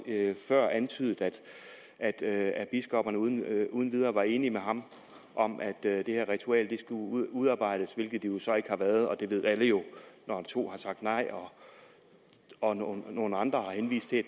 før antydet at at biskopperne uden uden videre var enige med ham om at det her ritual skulle udarbejdes hvilket de så ikke har været og det ved alle jo når to har sagt nej og nogle nogle andre har henvist til